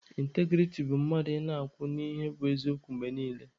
Ịntagirity bụ mmadụ ị na-akwụ n'ihe bụ eziokwu mgbe niile.